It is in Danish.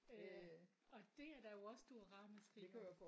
Øh og det er der jo også stor ramaskrig om